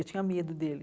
Eu tinha medo dele.